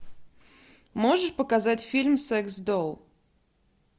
можешь показать фильм секс долл